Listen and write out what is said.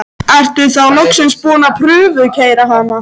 Ertu þá loksins búinn að prufukeyra hana?